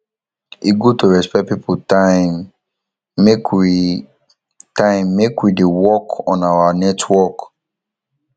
e good to respect pipo time make we time make we dey work on our network